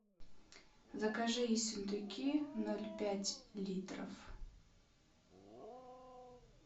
закажи ессентуки ноль пять литров